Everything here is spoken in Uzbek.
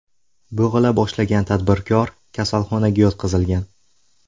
Bo‘g‘ila boshlagan tadbirkor kasalxonaga yotqizilgan.